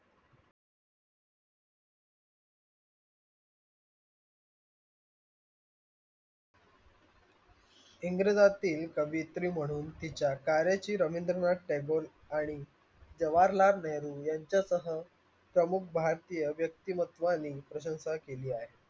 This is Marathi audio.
इंग्रजांतील कवियत्री म्हणून तिच्या talent ची रवींद्रनाथ टागोर आणि याच्यासमोर प्रमुख भारतीय व्यक्तिमत्वाने प्रशंसा केली आहे